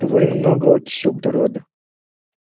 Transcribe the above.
довольно много окиси углерода